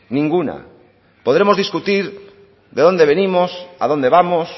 ninguna podremos discutir de dónde venimos a dónde vamos